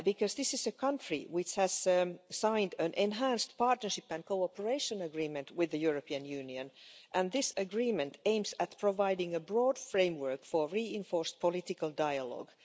This is a country which has signed an enhanced partnership and cooperation agreement with the European Union and this agreement aims at providing a broad framework for reinforced political dialogue.